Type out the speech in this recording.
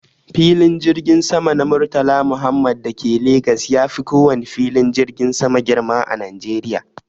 Filin jirgin sama na murtala muhammed dake Legas yafi kowane filin jirgin sama girma a Najeriya